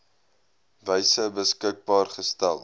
wyse beskikbaar gestel